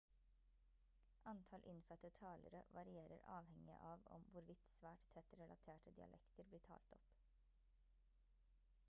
antall innfødte talere varierer avhengig av om hvorvidt svært tett relaterte dialekter blir talt opp